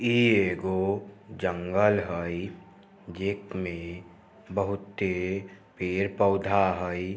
इ एगो जंगल हई जे मे बहुते पेड़-पौधा हई।